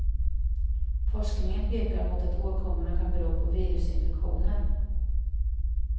Forskningen pekar mot att åkommorna kan bero på virusinfektioner.